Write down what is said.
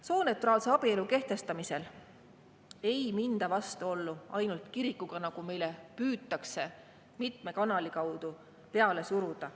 Sooneutraalse abielu kehtestamisel ei minda vastuollu ainult kirikuga, nagu meile püütakse mitme kanali kaudu peale suruda.